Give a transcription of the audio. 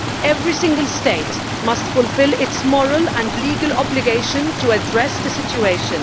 Every single state must fulfil its moral and legal obligation to address the situation.